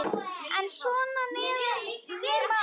En svona meðan ég man.